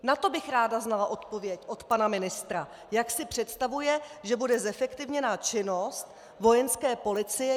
Na to bych ráda znala odpověď od pana ministra, jak si představuje, že bude zefektivněna činnost Vojenské policie.